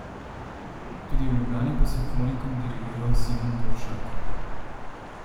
Tudi v Ljubljani bo simfonikom dirigiral Simon Dvoršak.